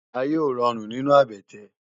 Àyé ó ròrún ninú àbètè